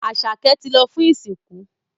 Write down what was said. Asake tí lọ fún ìsìnkú.